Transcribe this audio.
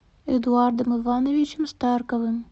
эдуардом ивановичем старковым